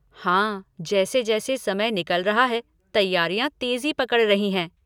हाँ जैसे जैसे समय निकल रहा है तैयारियाँ तेज़ी पकड़ रही हैं।